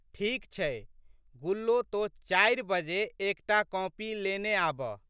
ठीक छै गुल्लो तोँ चारि बजे एक टा कॉपी लेने आबह।